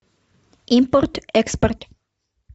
импорт экспорт